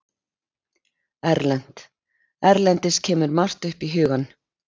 Erlent: Erlendis kemur margt upp í hugann.